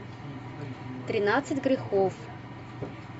тринадцать грехов